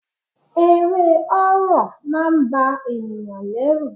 Eré horror máà ń ba ènìyàn lẹ́rù.